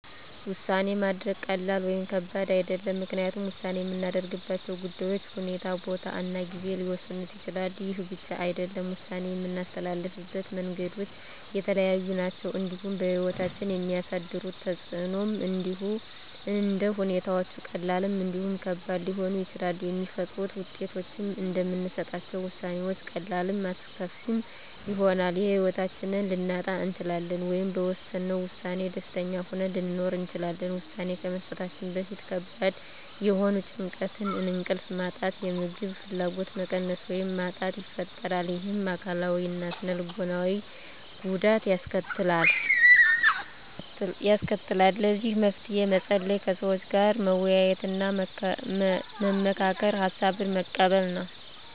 ውሳኔ ማድረግ ቀላል ወይም ከባድ አይደለም ምክንያቱም ውሳኔ የምናደርግባቸው ጉዳዮች ሁኔታ ቦታ እና ጊዜ ሊወሰኑት ይችላሉ ይህ ብቻ አይደለም ውሳኔ የምናስተላልፍበት መንገዶች የተለያዩ ናቸው እንዲሁም በህይወታችን የሚያሳድሩት ተፅእኖም እንደ ሁኔታዎች ቀላልም እንዲሁም ከባድ ሊሆኑ ይችላሉ የሚፈጥሩት ውጤቶችም እንደምንሰጣቸው ውሳኔዎች ቀላልም አስከፊም ይሆናል የህይወታችንን ልናጣ እንችላለን ወይም በወሰነው ውሳኔ ደስተኛ ሆነን ልንኖር እንችላለን ውሳኔ ከመስጠታችን በፊት ከባድ የሆነ ጭንቀት እንቅልፍ ማጣት የምግብ ፍላጎት መቀነስ ወይም ማጣት ይፈጥራል ይህም አካላዊ እና ስነ ልቦናዊ ጉዳት ያስከትላል ለዚህ መፍትሄ መፀለይ ከሰዎች ጋር መወያየትና መመካከር ሀሳብን መቀበል